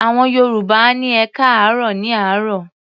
Àwọn Yorùbá á ní "ẹkáàárọ̀" ní àárọ̀.